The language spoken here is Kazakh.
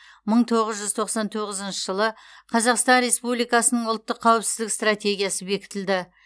мың тоғыз жүз тоқсан тоғызыншы жылы қазақстан республикасының ұлттық қауіпсіздік стратегиясы бекітілді